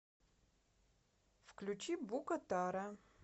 включи букатара